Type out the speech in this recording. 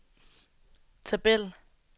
tabel